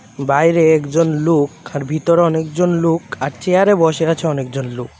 বাইরে একজন লোক আর ভিতরে অনেক জন লোক আর চেয়ারে বসে আছে অনেক জন লোক .